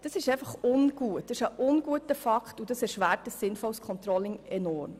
Das ist ungut und erschwert ein sinnvolles Controlling enorm.